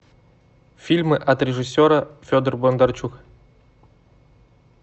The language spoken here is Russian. фильмы от режиссера федор бондарчук